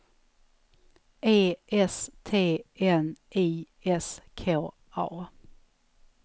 E S T N I S K A